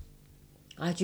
Radio 4